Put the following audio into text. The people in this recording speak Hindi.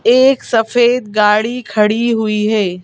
एक सफेद गाड़ी खड़ी हुई है।